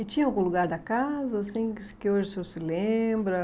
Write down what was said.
E tinha algum lugar da casa, assim, que que hoje o senhor se lembra?